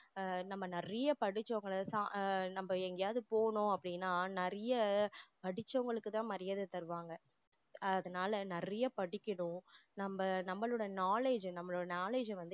ஆஹ் நம்ம நிறைய படிச்சவங்கள நம்ம எங்கயாவது போகணும் அப்படின்னா நிறைய படிச்சவங்களுக்குதான் மரியாதை தருவாங்க அதனால நிறைய படிக்கணும் நம்ம நம்மளோட knowledge அ நம்மளோட knowledge அ வந்து